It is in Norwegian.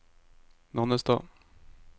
Nannestad